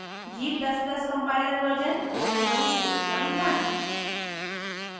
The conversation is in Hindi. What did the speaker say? g ++ compiler version 461